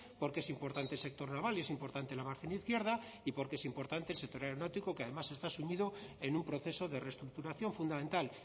porque es importante el sector naval y es importante la margen izquierda y porque es importante el sector aeronáutico que además está sumido en un proceso de reestructuración fundamental